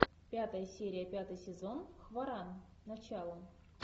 пятая серия пятый сезон хваран начало